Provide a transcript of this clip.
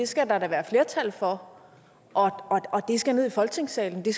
skal der da være flertal for og det skal ned i folketingssalen det